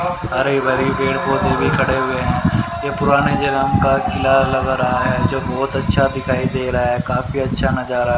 हरे भरे पेड़ पौधे भी खड़े हुए हैं ये पुराने जनम का किला लग रहा है जो बहोत अच्छा दिखाई दे रहा है काफी अच्छा नजारा--